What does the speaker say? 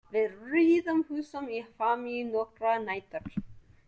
Við riðum húsum í Hvammi nokkrar nætur.